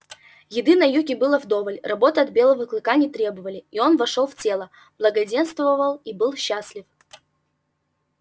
еды на юге было вдоволь работы от белого клыка не требовали и он вошёл в тело благоденствовал и был счастлив